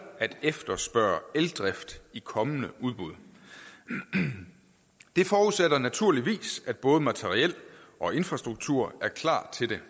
at efterspørge eldrift i kommende udbud det forudsætter naturligvis at både materiel og infrastruktur er klar til det